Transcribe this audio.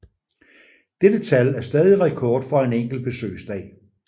Dette tal er stadig rekord for en enkelt besøgsdag